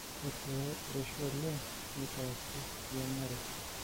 ore pee erishu oleng neitaasi eyiang'are